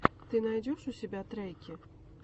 ты найдешь у себя треки